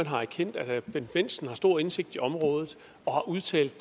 har erkendt at herre bendt bendtsen har stor indsigt på området og har udtalt